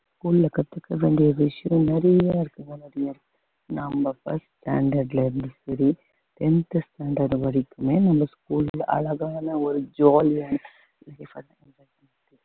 school ஆ கத்துக்க வேண்டிய விஷயம் நிறைய இருக்குங்க நிறைய இருக்கு நம்ம first standard ல இருந்து சரி tenth standard வரைக்குமே நம்ம school ல அழகான ஒரு ஜாலியான